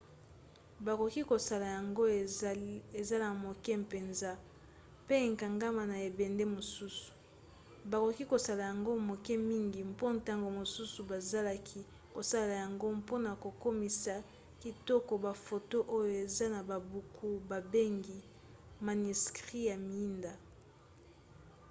bakoki kosala yango ezala moke mpenza mpe ekangama na ebende mosusu. bakoki kosala yango moke mingi mpo ntango mosusu bazalaki kosalela yango mpona kokomisa kitoko bafoto oyo eza na babuku babengi maniskri ya miinda